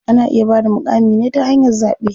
Ana iya bada muƙamin ne ta hanyar zaɓe.